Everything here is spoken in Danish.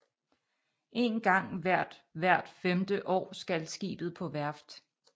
En gang hvert hvert femte år skal skibet på værft